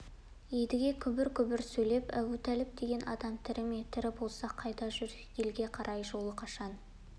едіге күбір-күбір сөйлеп әбутәліп деген адам тірі ме тірі болса қайда жүр елге қарай жолы қашан